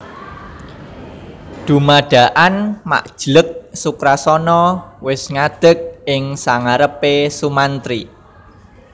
Dumadakan mak jleg Sukrasana wis ngadeg ing sangarepe Sumantri